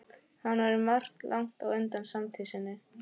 Hann var um margt langt á undan samtíð sinni.